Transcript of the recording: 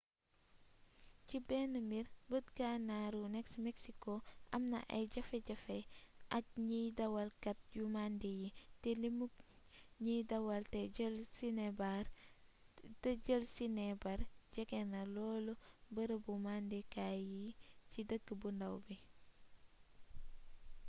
ci bénn mbir beet gannaru nex mexico amna ay jafejafe ak gniy dawal kat yu mandi yi té limuk gniy dawal té jeel sinébar jégéna lool beereebu mandi kaay yi ci deekk-bu ndaw bi